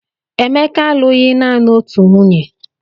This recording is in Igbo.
Emeka alụghị naanị otu nwunye